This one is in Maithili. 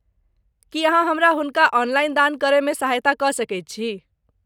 की अहाँ हमरा हुनका ऑनलाइन दान करयमे सहायता कऽ सकैत छी?